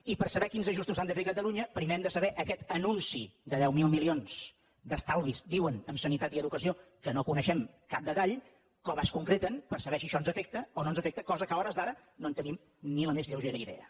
i per saber quins ajustos s’han de fer a catalunya primer hem de saber aquest anunci de deu mil milions d’estalvi diuen en sanitat i educació que no en coneixem cap detall com es concreten per saber si això ens afecta o no ens afecta cosa que a hores d’ara no en tenim ni la més lleugera idea